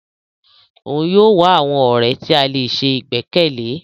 Òún yóò wá àwọn ọrẹ ti a lè sè igbẹkẹle.